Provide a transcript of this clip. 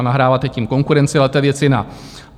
A nahráváte tím konkurenci, ale to je věc jiná.